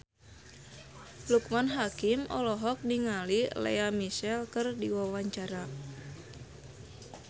Loekman Hakim olohok ningali Lea Michele keur diwawancara